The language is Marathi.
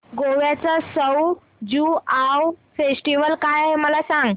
गोव्याचा सउ ज्युआउ फेस्टिवल काय आहे मला सांग